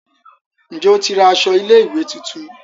Njé o tí ra aṣọ ilé ìwé títún?